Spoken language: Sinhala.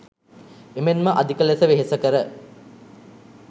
එමෙන්ම අධික ලෙස වෙහෙසකර